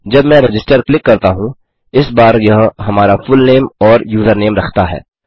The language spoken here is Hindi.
जब मैं रजिस्टर क्लिक करता हूँ इस बार यह हमारा फुलनेम और यूज़रनेम रखता है